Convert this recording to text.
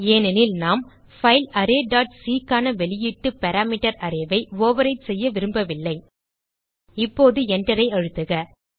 ஏனெனில் நாம் file array dot C க்கான வெளியீட்டு பாராமீட்டர் அரே ஐ ஓவர்விரைட் செய்ய விரும்பவில்லை இப்போது Enterஐ அழுத்துக